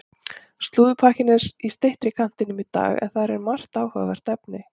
Slúðurpakkinn er í styttri kantinum í dag en þar er þó margt áhugavert efni.